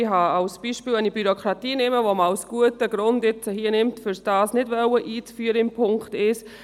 Wenn ich zum Beispiel die Bürokratie nehme, die man als guten Grund nimmt, um dies gemäss Punkt 1 nicht einführen zu wollen: